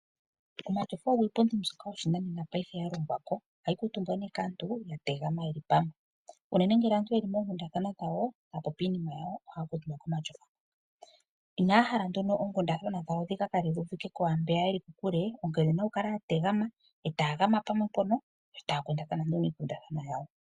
Omatyofa ogo iipundi yoshinanena paife yalongwako, ohayi kuutumbwa nee kaantu yategama yeli pamwe, unene ngele aantu yeli moonkundathana dhawo taya popi iinima yawo ohaya kuutumba komatyofa. Inaya hala nduno oonkundathana dhawo dhikakale dhuuvike kwaambeya yeli kokule onkene oyena okukala yategama etayagama pamwe mpono etaya kundathana nee oonkundathana dhawo.